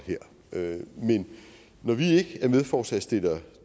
her men når vi ikke er medforslagsstiller